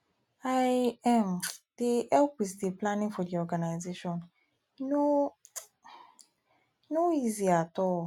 i um dey um help with di planning for di organisation e no um no easy at all